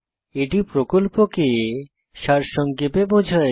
এটি প্রকল্পকে সারসংক্ষেপে বোঝায়